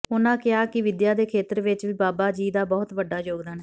ਉਨ੍ਹਾਂ ਕਿਹਾ ਕਿ ਵਿਦਿਆ ਦੇ ਖੇਤਰ ਵਿੱਚ ਵੀ ਬਾਬਾ ਜੀ ਦਾ ਬਹੁਤ ਵੱਡਾ ਯੋਗਦਾਨ ਹੈ